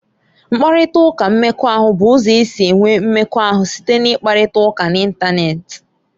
Mkparịta ụka mmekọahụ bụ ụzọ e si enwe mmekọahụ site n'ịkparịta ụka n'Ịntanet.